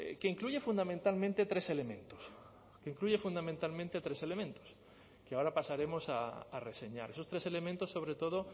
que incluye fundamentalmente tres elementos que incluye fundamentalmente tres elementos que ahora pasaremos a reseñar esos tres elementos sobre todo